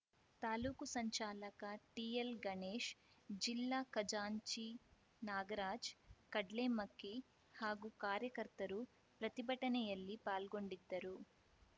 ತಾಲೂಕು ಸಂಚಾಲಕ ಟಿಎಲ್‌ ಗಣೇಶ್‌ ಜಿಲ್ಲಾ ಖಜಾಂಚಿ ನಾಗರಾಜ್‌ ಕಡ್ಲೆಮಕ್ಕಿ ಹಾಗೂ ಕಾರ್ಯಕರ್ತರು ಪ್ರತಿಭಟನೆಯಲ್ಲಿ ಪಾಲ್ಗೊಂಡಿದ್ದರು